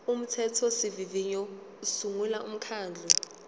umthethosivivinyo usungula umkhandlu